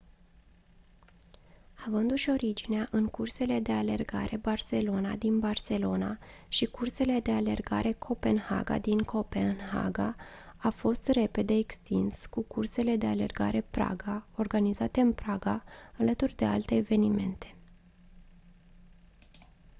avându-și originea în cursele de alergare barcelona din barcelona și cursele de alergare copenhaga din copenhaga a fost repede extins cu cursele de alergare praga organizate în praga alături de alte evenimente